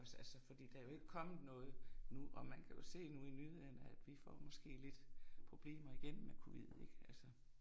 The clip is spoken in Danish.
Altså fordi der er jo ikke kommet noget nu og man kan jo se nu i nyhederne at vi får måske lidt problemer igen med covid ik altså